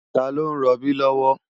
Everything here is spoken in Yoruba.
Tá ló n ròbí lòwò?